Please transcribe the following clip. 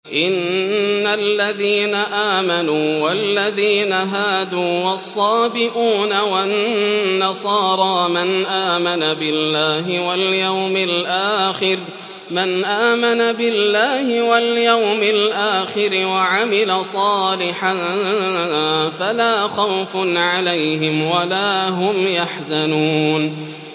إِنَّ الَّذِينَ آمَنُوا وَالَّذِينَ هَادُوا وَالصَّابِئُونَ وَالنَّصَارَىٰ مَنْ آمَنَ بِاللَّهِ وَالْيَوْمِ الْآخِرِ وَعَمِلَ صَالِحًا فَلَا خَوْفٌ عَلَيْهِمْ وَلَا هُمْ يَحْزَنُونَ